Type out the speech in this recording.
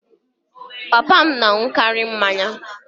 Papa m dịara aṅụkarị mmanya